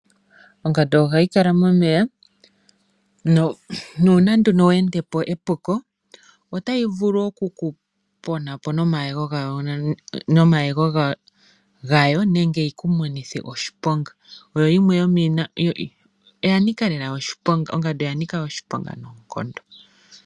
Ongandu ohayi kala momeya, nuuna nduno we endepo epuko, otayi vulu okukuponapo nduno nomayego gayo, nenge yiku monithe oshiponga. Ongandu oya nika lela oshiponga noonkondo.